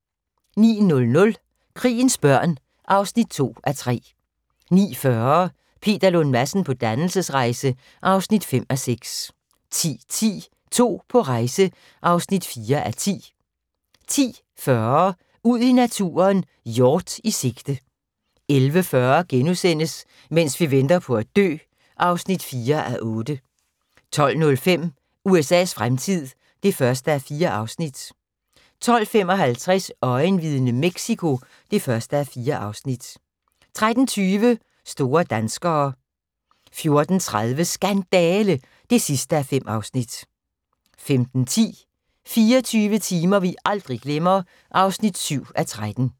09:00: Krigens børn (2:3) 09:40: Peter Lund Madsen på dannelsesrejse (5:6) 10:10: To på rejse (4:10) 10:40: Ud i naturen: Hjort i sigte 11:40: Mens vi venter på at dø (4:8)* 12:05: USA's fremtid (1:4) 12:55: Øjenvidne: Mexico (1:4) 13:20: Store danskere 14:30: Skandale! (5:5) 15:10: 24 timer vi aldrig glemmer (7:13)